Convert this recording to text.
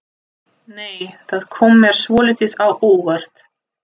Nei! Það kom mér svolítið á óvart!